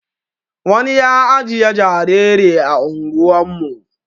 wani ya ajiye jariri ah ungwan mu